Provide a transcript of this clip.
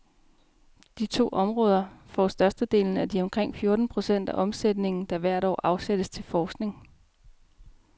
De to områder får størstedelen af de omkring fjorten procent af omsætningen, der hvert år afsættes til forskning.